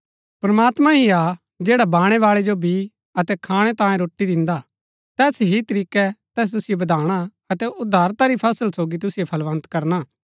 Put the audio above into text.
प्रमात्मां ही हा जैडा बाणैवाळै जो बी अतै खाणै तांयें रोटी दिन्दा तैस ही तरीकै तैस तुसिओ बधाणा अतै उदारता री फसल सोगी तुसिओ फलबन्त करना